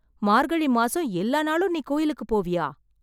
மார்கழி மாசம் எல்லா நாளும் நீ கோயிலுக்குப் போவியா?